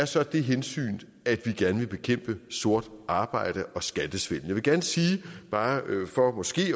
så det hensyn at vi gerne vil bekæmpe sort arbejde og skattesvindel jeg vil gerne sige bare for måske